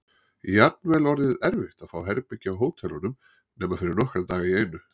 Jafnvel orðið erfitt að fá herbergi á hótelunum nema fyrir nokkra daga í einu.